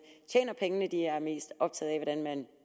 tjener pengene de er mest optaget af hvordan man